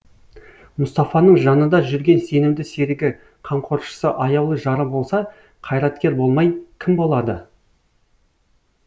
мұстафаның жанында жүрген сенімді серігі қамқоршысы аяулы жары болса қайраткер болмай кім болады